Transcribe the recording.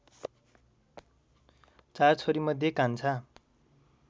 चार छोरीमध्ये कान्छा